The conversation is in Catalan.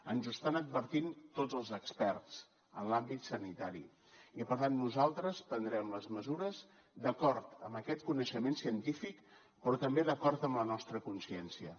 ens ho estan advertint tots els experts en l’àmbit sanitari i per tant nosaltres prendrem les mesures d’acord amb aquest coneixement científic però també d’acord amb la nostra consciència